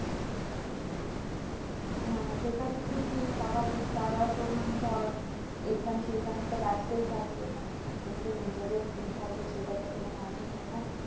হ্যাঁ সেটা তো ঠিকই স্বাভাবিক তারা তো মানে ধর এইখানে সেইখানে তো ব্যস্তই থাকে মানে এখন যে নিজেদের free থাকবে সেইটা তো কোন মানে নেই না।